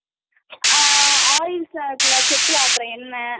ஆஹா oils செக்குல ஆட்டுற என்னை